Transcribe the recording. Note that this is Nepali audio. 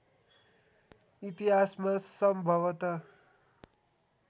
इतिहासमा सम्भवत